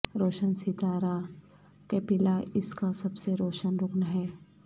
روشن ستارہ کیپیلا اس کا سب سے روشن رکن ہے